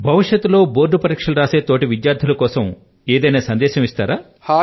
భవిష్యత్తు లో బోర్డ్ పరీక్షలు వ్రాసే తోటి విద్యార్థుల కోసం ఏదైనా సందేశం ఇస్తారా